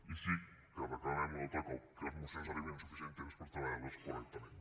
i sí que ho reclamem un altre cop que les mocions arribin amb suficient temps per treballar les correctament